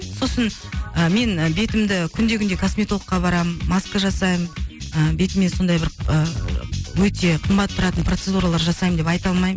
сосын ы мен бетімді күнде күнде косметологке барамын маска жасаймын ыыы бетіме сондай бір ыыы өте қымбат тұратын процедуралар жасаймын деп айта алмаймын